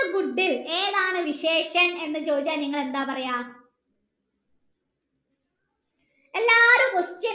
ഏതാണ് എന്ന് ചോയ്ച്ചാൽ നിങ്ങൾ എന്താ പറയാ എല്ലാരും